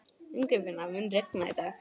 Ingifinna, mun rigna í dag?